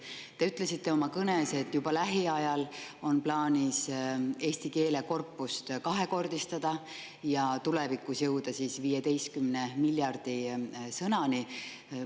Te ütlesite oma kõnes, et juba lähiajal on plaanis eesti keele korpust kahekordistada ja tulevikus jõuda 15 miljardi sõnani.